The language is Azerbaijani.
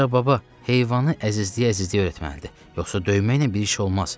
Ancaq baba, heyvanı əzizliyə-əzizliyə öyrətməlidir, yoxsa döyməklə bir iş olmaz.